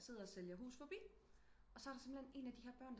Sidder og sælger hus forbi og så er der simpelthen en af de her børn